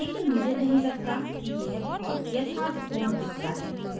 लेकिन मुझे नहीं लगता कि यह बहुत यथार्थपूर्ण दिखता है